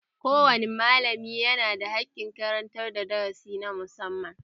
Ko wane malami yana da haƙƙin karantar da darasi na musamman